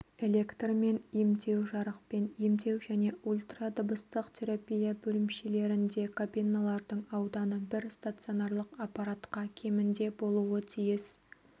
электрмен емдеу жарықпен емдеу және ультрадыбыстық терапия бөлімшелерінде кабиналардың ауданы бір стационарлық аппаратқа кемінде болуы тиіс